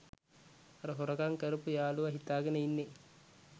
අර හොරකම් කරපු යාළුවා හිතාගෙන ඉන්නේ